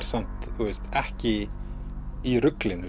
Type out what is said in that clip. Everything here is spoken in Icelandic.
samt ekki í ruglinu